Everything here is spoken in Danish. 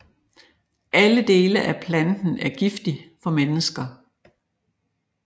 Alle dele af planten er giftig for mennesker